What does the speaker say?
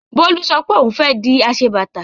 Bólú sọ pé òun fẹ́ di aṣebàtà.